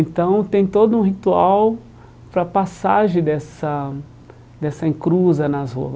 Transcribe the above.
Então, tem todo um ritual para a passagem dessa dessa encruza nas ruas.